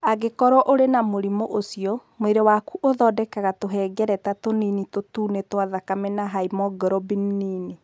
Angĩkorũo ũrĩ na mũrimũ ũcio, mwĩrĩ waku ũthondekaga tũhengereta tũnini tũtune twa thakame na hemoglobin nini.